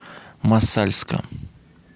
мосальска